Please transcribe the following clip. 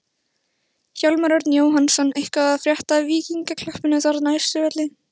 Hjálmar Örn Jóhannsson: Eitthvað að frétta af Víkingaklappinu þarna á Austurvelli?